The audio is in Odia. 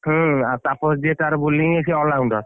ହୁଁ ଆଉ ତାପସ ଯିଏ ତାର bowling ସିଏ all rounder ।